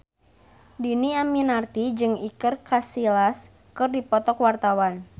Dhini Aminarti jeung Iker Casillas keur dipoto ku wartawan